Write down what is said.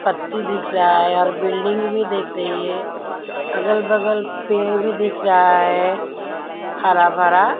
पत्ती दिख रहा है और बिल्डिंग भी देख रही है अगल-बगल पेड़ भी दिख रहा है हरा भरा --